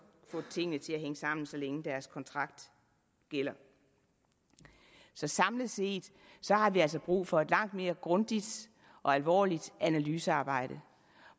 få tingene til at hænge sammen så længe deres kontrakt gælder samlet set har vi altså brug for et langt mere grundigt og alvorligt analysearbejde